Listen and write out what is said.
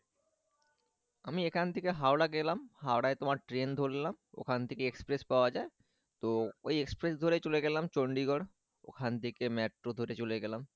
আমি এখান থেকে হাওড়া গেলাম হাওড়ায় তোমার ট্রেন ধরলাম ওখান থেকে এক্সপ্রেস পাওয়া যায় তো ওই এক্সপ্রেস ধরে চলে গেলাম চন্ডিগড় ওখান থেকে মেট্রো ধরে চলে গেলাম